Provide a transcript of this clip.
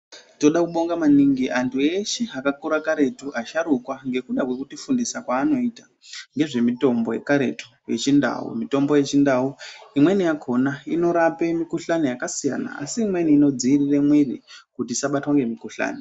Toda kubonga maningi antu eshe akakura karetu, asharukwa ngekuda kwekutifundisa kwaanoita ngezvemitombo yekaretu yechindau .Mitombo yechindau imweni yakhona inorape mukhuhlani yakasiyana, asi imweni inodziirire mwiri kuti isabatwa ngemukuhlani .